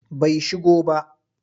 Bai shigo ba.